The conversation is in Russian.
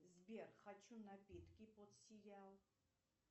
сбер хочу напитки под сериал